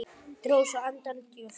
Dró svo andann djúpt.